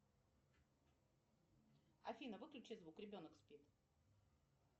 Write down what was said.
афина выключи звук ребенок спит